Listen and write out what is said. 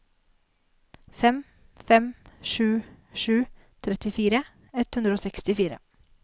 fem fem sju sju trettifire ett hundre og sekstifire